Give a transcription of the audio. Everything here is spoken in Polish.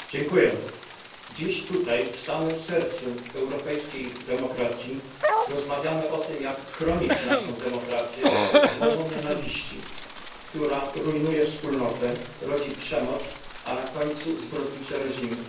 Panie Przewodniczący! Dziś tutaj, w samym sercu europejskiej demokracji, rozmawiamy o tym, jak chronić naszą demokrację przed mową nienawiści, która rujnuje wspólnotę, rodzi przemoc, a na końcu zbrodnicze reżimy.